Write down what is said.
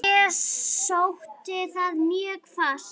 Ég sótti það mjög fast.